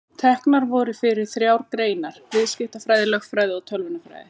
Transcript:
Teknar voru fyrir þrjár greinar: Viðskiptafræði, lögfræði og tölvunarfræði.